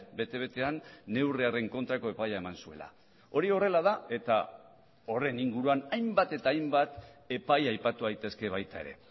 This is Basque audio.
bete betean neurri haren kontrako epaia eman zuela hori horrela da eta horren inguruan hainbat eta hainbat epai aipatu daitezke baita ere